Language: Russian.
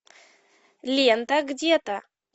лента где то